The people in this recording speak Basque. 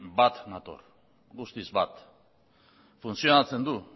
bat nator guztiz bat funtzionatzen du